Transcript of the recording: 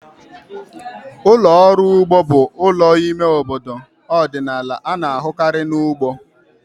Ụlọ ọrụ ugbo bụ ụlọ ime obodo ọdịnala a na-ahụkarị na ugbo.